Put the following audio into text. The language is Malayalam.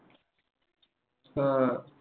ആഹ്